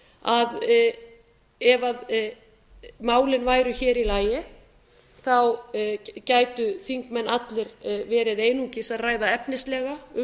að ef málin væru hér í lagi gætu þingmenn allir verið einungis að ræða efnislega um